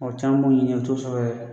Mɔgɔ caman b'o ɲini na o tɛ sɔrɔ yɛrɛ.